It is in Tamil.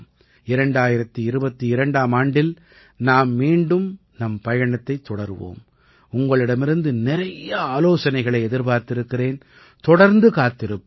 2022ஆம் ஆண்டில் நாம் மீண்டும் நம் பயணத்தைத் தொடருவோம் உங்களிடமிருந்து நிறைய ஆலோசனைகளை எதிர்பார்த்திருக்கிறேன் தொடர்ந்து காத்திருப்பேன்